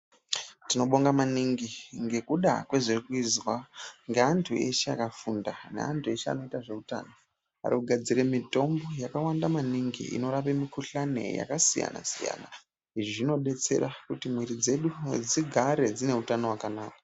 Tinobonga maningi ngekuda kwezviri kuizwa ngeantu eshe akafunda, neantu eshe anoita zveutano, arikugadzire mitombo yakwanda maningi, inorape mikuhlani yakasiyana-siyana. Izvi zvinodetsera kuti mwiiri dzedu dzigare dzine utano hwakanaka.